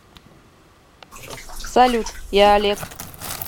салют я олег